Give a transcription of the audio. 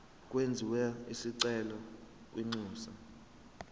kwenziwe isicelo kwinxusa